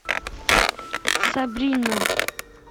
сабрина